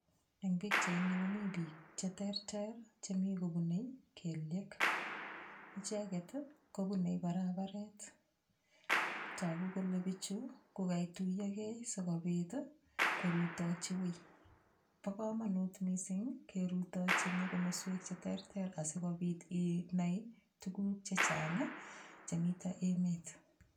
Eng' pikchaini komi biik cheterter chemi kobunei kelyek icheget kobunei barabaret toku kole bichu kokaituiyokei sikobit korutochi wii bo komonut mising' kerutochini komoswek cheterter asikobit inai tukuk chechang' chemito emet